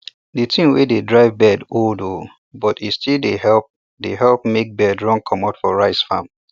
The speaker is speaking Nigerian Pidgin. the thing wey de drive bird old oo but e still dey help dey help make bird run comot for rice farm